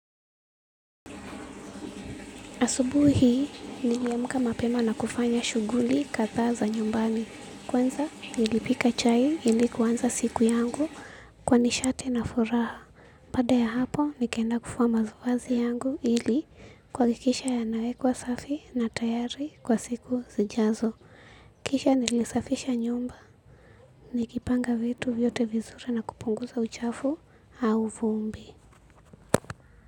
Asubuhi hii, niliamka mapema na kufanya shuguli kadhaa za nyumbani. Kwanza, nilipika chai ili kuanza siku yangu kwa nishate na furaha. Baaada ya hapo, nikaenda kufua mavaazi yangu ili kuhakikisha yanawekwa safi na tayari kwa siku zijazo. Kisha ninasafisha nyumba nikipanga vitu vyote vizuri na kupunguza uchafu au vumbi.